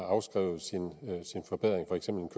afskrevet sin forbedring